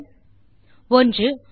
விடைகள் 1